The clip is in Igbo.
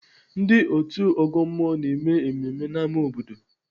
Ndị otu ọgọ mmụọ na-eme mmemme n'ámá obodo.